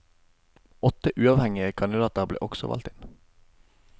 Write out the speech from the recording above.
Åtte uavhengige kandidater ble også valgt inn.